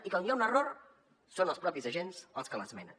i quan hi ha un error són els propis agents els que l’esmenen